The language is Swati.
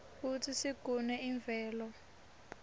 kutsi sigune imvelo